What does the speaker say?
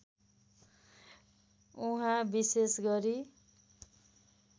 उहाँ विशेष गरी